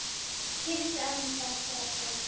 Kysstu ömmu frá okkur öllum.